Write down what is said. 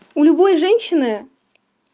у любой женщины